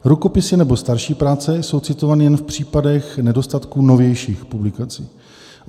rukopisy nebo starší práce jsou citovány jen v případě nedostatku novějších publikací.